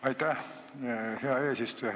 Aitäh, hea eesistuja!